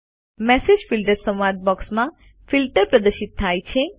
message filters સંવાદ બોક્સમાં filter પ્રદર્શિત થાય છે